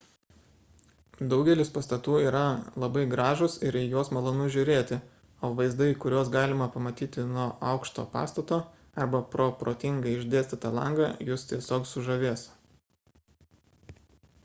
daugelis pastatų yra labai gražūs ir į juos malonu žiūrėti o vaizdai kuriuos galima pamatyti nuo aukšto pastato arba pro protingai išdėstytą langą jus tiesiog sužavės